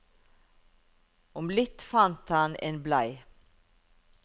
Om litt fant han en blei.